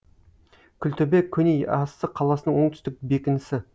күлтөбе көне яссы қаласының оңтүстік бекінісі